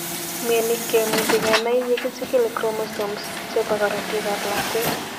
Mioni kimuche kenai yegichigil chromosomeschepo korotik ap lakwet.